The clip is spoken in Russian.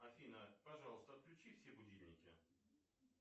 афина пожалуйста отключи все будильники